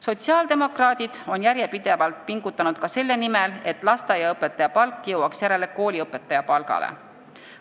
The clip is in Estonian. Sotsiaaldemokraadid on järjepidevalt pingutanud ka selle nimel, et lasteaiaõpetaja palk jõuaks järele kooliõpetaja palgale.